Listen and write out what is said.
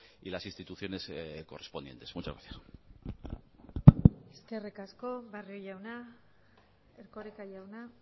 y las instituciones correspondientes muchas gracias eskerrik asko barrio jauna erkoreka jauna